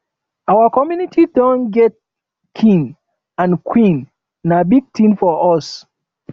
our community don get king and queen na big thing for us